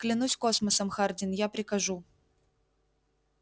клянусь космосом хардин я прикажу